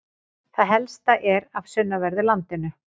Það helsta er af sunnanverðu landinu.